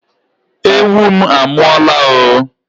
Ewu m a mụọla o!